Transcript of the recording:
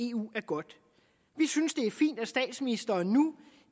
eu er godt vi synes det er fint at statsministeren nu